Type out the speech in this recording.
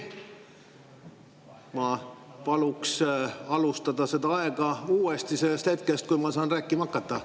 Ma paluks alustada aja lugemist sellest hetkest, kui ma saan rääkima hakata.